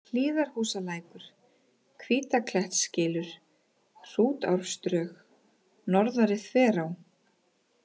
Hlíðarhúsalækur, Hvítaklettskylur, Hrútárdrög, Norðari-Þverá